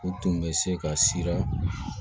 O tun bɛ se ka sira